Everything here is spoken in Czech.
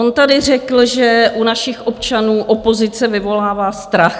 On tady řekl, že u našich občanů opozice vyvolává strach.